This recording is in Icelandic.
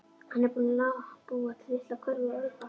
Hann er búinn að búa til litla körfu úr álpappírnum.